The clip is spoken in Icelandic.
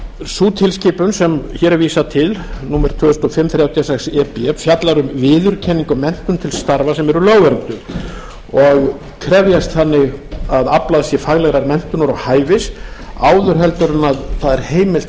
sú tilskipun sem hér er vísað til númer tvö þúsund og fimm þrjátíu og sex e b fjallar um viðurkenningu á menntun til starfa sem eru lögvernduð og krefjast þannig að aflað sé faglegrar menntunar og hæfis áður heldur en það er heimilt að